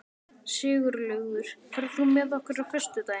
Sigurlaugur, ferð þú með okkur á föstudaginn?